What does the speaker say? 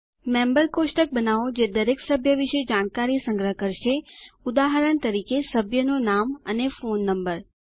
member કોષ્ટક બનાવો જે દરેક સભ્ય વિશે જાણકારી સંગ્રહ કરશે ઉદાહરણ તરીકે સભ્યનું નામ અને ફોન નંબર